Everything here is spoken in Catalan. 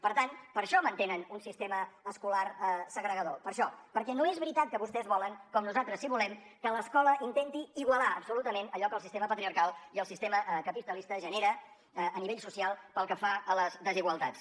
per tant per això mantenen un sistema escolar segregador per això perquè no és veritat que vostès volen com nosaltres sí que volem que l’escola intenti igualar absolutament allò que el sistema patriarcal i el sistema capitalista genera a nivell social pel que fa a les desigualtats